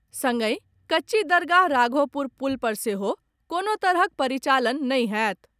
संगहि कच्ची दरगाह राघोपुर पुल पर सेहो कोनो तरहक परिचालन नहि होयत।